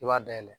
I b'a dayɛlɛ